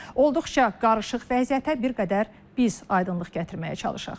Olduqca qarışıq vəziyyətə bir qədər biz aydınlıq gətirməyə çalışaq.